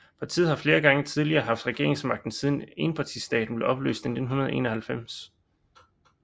Partiet har flere gange tidligere haft regeringsmagten siden enpartistaten blev opløst i 1991